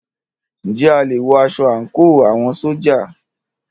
Ǹjẹ́ a lè wọ aṣọ àńkò àwọn ṣójà?